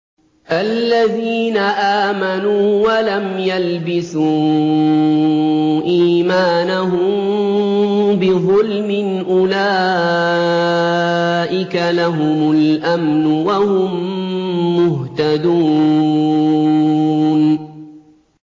الَّذِينَ آمَنُوا وَلَمْ يَلْبِسُوا إِيمَانَهُم بِظُلْمٍ أُولَٰئِكَ لَهُمُ الْأَمْنُ وَهُم مُّهْتَدُونَ